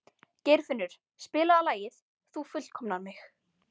Geirfinnur, spilaðu lagið „Þú fullkomnar mig“.